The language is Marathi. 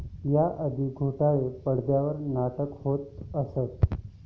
या आधी गुंडाळी पडद्यावर नाटके होत असत.